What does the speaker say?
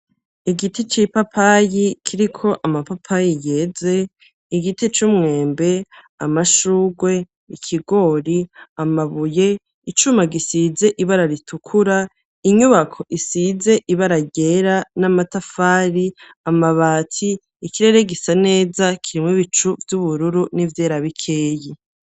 Igiti c'ipapayi kiriko amapapayi yeze, igiti c'umwembe, amashugwe, ikigori, amabuye, icuma gisize ibara ritukura, inyubako isize ibara ryera n'amatafari, amabati, ikirere gisa neza kirimwo ibicu vy'ubururu n'ivyera bikeyi.